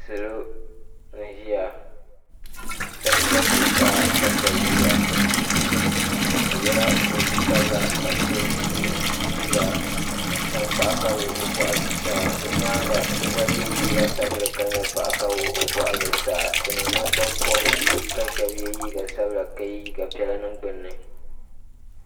Salo n-ʒiya shɛba za zuɣusaa ka shɛba ʒiya bɛ yela kootu sabila ka so ye liiga tankpaɣu ka wuɣi o bɔɣu zuɣusaa o nyaaŋa so gba ye liiga sabinli ka nyɛ paɣa ka wuɣi o bɔɣu zuɣusaa bɛ ni nangbanpɔbirisi ka shɛba ye liiga sabila ka ye liiga piɛla niŋ gbunni.